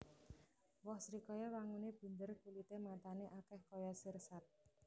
Woh srikaya wanguné bunder kulité matané akèh kaya sirsat